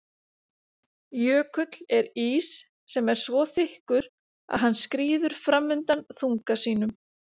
Jökull er ís sem er svo þykkur að hann skríður fram undan þunga sínum.